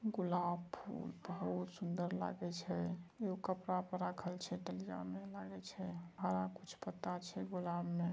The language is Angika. गुलाब फुल बहुत सुंदर लागे छे राखल छे डलिया में लागे छे हरा कुछ पत्ता छे गुलाब में।